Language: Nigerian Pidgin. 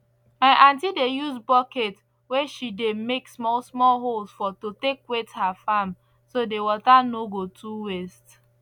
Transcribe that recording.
my aunty dey use bucket wey she dey make small small holes for to take wet her farm so the water no go too waste